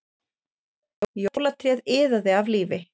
Jólatréð iðaði af lífi